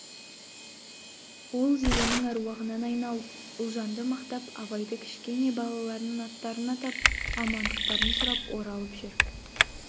ол зеренің аруағынан айналып ұлжанды мақтап абайдың кішкене балаларының аттарын атап амандықтарын сұрап оралып жүр